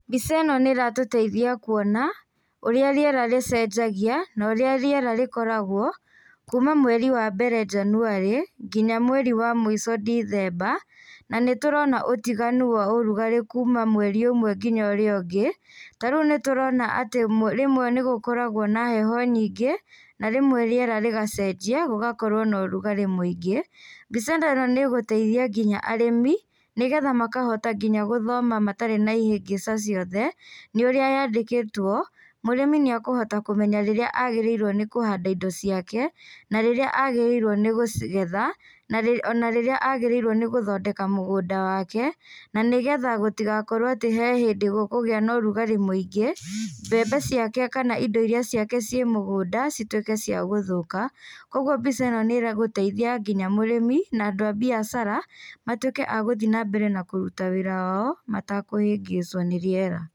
Mbica ĩno nĩ ĩratũteithia kuona ũrĩa rĩera rĩcenjagia na ũrĩa rĩera rĩkoragwo kuuma mweri wa mbere Janũari nginya mweri wa mũico Dicemba na nĩtũrona ũtiganu wa urugarĩ kuuma mweri ũmwe nginya ũrĩa ũngĩ. Tarĩu nĩ tũrona atĩ rĩmwe nĩ gũkoragwo na heho nyingĩ na rĩmwe rĩera rĩgacenjia gũgakorwo na ũrugarĩ mũingĩ. Mbica ta ĩno nĩ ĩgũteithia nginya arĩmĩ nĩgetha makahota nginya gũthoma matarĩ na ihĩgĩca ciothe nĩ ũrĩa yandĩkĩtwo, mũrĩmi nĩ ekũhota kũmenya rĩrĩa agĩrĩirwo nĩ kũhanda indo ciake na rĩrĩa agĩrĩirwo nĩ gũcigetha, ona rĩrĩa agĩrĩirwo nĩ gũthondeka mũgũnda wake. Na nĩgetha gũtigakorwo atĩ he hĩndĩ gũkũgĩa na ũrugarĩ mũingĩ, mbembe ciake kana indo irĩa ciake ciĩ mũgũnda cituĩke cia gũthũka. Kwoguo mbica ĩno nĩ ĩgũteithia nginya mũrĩmi na andũ a biacara matuĩke a gũthiĩ na mbere na kũruta wĩra wao matakũhĩngĩcwo nĩ rĩera.